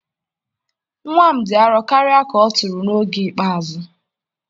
nwa m dị arọ karịa ka ọ tụrụ n'oge ikpeazụ.